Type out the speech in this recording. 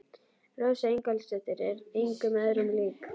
Rósa Ingólfsdóttir er engum öðrum lík.